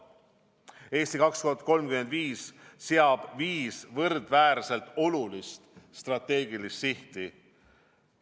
"Eesti 2035" seab viis võrdväärselt olulist strateegilist sihti.